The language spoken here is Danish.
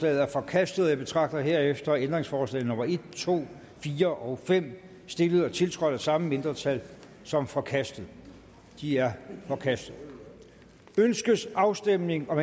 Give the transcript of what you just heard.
er forkastet jeg betragter herefter ændringsforslag nummer en to fire og fem stillet og tiltrådt af samme mindretal som forkastet de er forkastet ønskes afstemning om